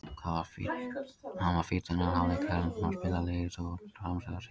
Hann var fínn þennan hálfleik sem hann spilaði, lítið út á hans frammistöðu að segja.